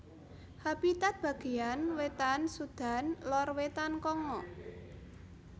Habitat bagéyan wétan Sudan lor wétan Kongo